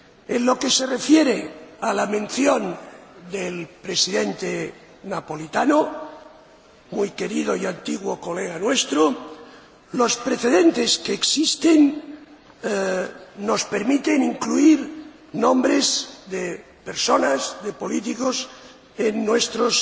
En lo que se refiere a la mención del Presidente Napolitano, muy querido y antiguo colega nuestro, los precedentes que existen nos permiten incluir nombres de personas —de políticos— en nuestros